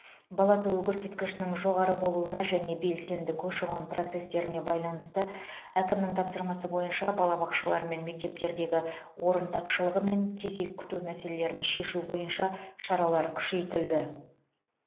бала туу көрсеткішінің жоғары болуына және белсенді көші қон процестеріне байланысты әкімнің тапсырмасы бойынша балабақшалар мен мектептердегі орын тапшылығы мен кезек күту мәселелерін шешу бойынша шаралар күшейтілді